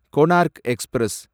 Konark express